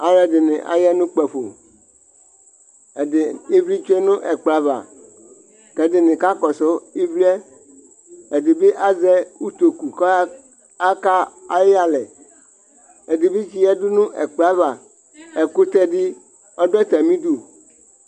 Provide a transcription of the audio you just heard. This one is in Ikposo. Alʋ ɛdini aya nʋ ukpafo, ɛdi, ivli tsue nʋ ɛkplɔ ava k'ɛdini kakɔsʋ ivli yɛ, ɛdi bi azɛ utoku kɔya ka ayi yalɛ, ɛdi bi tsi yǝdu nʋ ɛkplɔ yɛ ava, ɛkʋtɛ di ɔdʋ atamidu